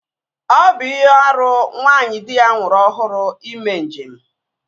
Ọ bụ ihe árú nwaanyị di ya nwụrụ ọhụrụ ime njem